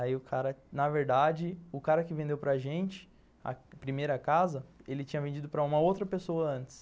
Aí o cara, na verdade, o cara que vendeu para gente a primeira casa, ele tinha vendido para uma outra pessoa antes.